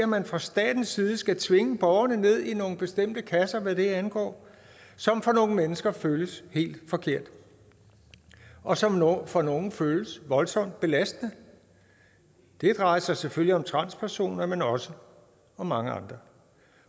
man fra statens side skal tvinge borgerne ned i nogle bestemte kasser hvad det angår som for nogle mennesker føles helt forkert og som for nogle føles voldsomt belastende det drejer sig selvfølgelig om transpersoner men også om mange andre